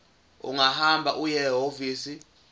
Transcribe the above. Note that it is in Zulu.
ungahamba uye ehhovisi